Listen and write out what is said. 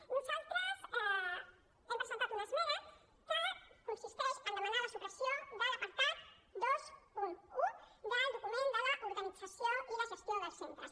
nosaltres hem presentat una esmena que consisteix a demanar la supressió de l’apartat vint un del document de l’organització i la gestió dels centres